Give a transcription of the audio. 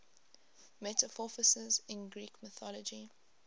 metamorphoses in greek mythology